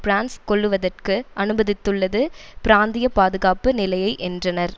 France கொள்ளுவதற்கு அனுமதித்துள்ளது பிராந்திய பாதுகாப்பு நிலையை என்றனர்